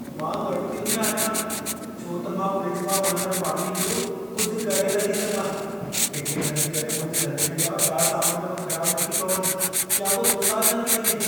मां ॻणितियुनि में आहियां छो त मां फ़्रिज मां वहंदड़ पाणीअ जो कुझु करे नथी सघां। किथे इन जे करे मुंहिंजे रंधिणे जा ॿिया सामान बि ख़राबु नथी पवनि या को नुकसानु न थी वञे।